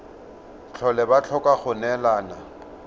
tlhole ba tlhoka go neelana